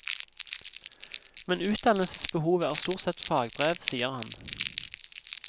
Men utdannelsesbehovet er stort sett fagbrev, sier han.